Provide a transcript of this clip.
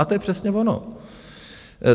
A to je přesně ono.